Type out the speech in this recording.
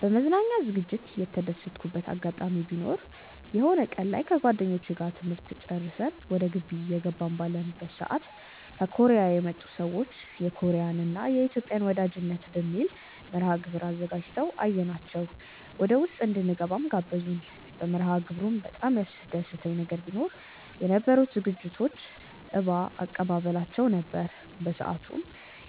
በመዝናኛ ዝግጅት የተደሰትኩበት አጋጣሚ ቢኖር የሆነ ቀን ላይ ከጓደኞቼ ጋር ትምህርት ጨርሰን ወደ ግቢ እየገባን ባለንበት ሰዓት ከኮርያ የመጡ ሰዎች የኮርያን እና የኢትዮጵያን ወዳጅነት በሚል መርሐግብር አዘጋጅተው አየናቸው ወደውስጥ እንድንገባም ጋበዙን። በመርሐግብሩም በጣም ያስደሰተኝ ነገር ቢኖ የነበሩት ዝግጅቶች እባ አቀባበላቸው ነበር። በሰአቱም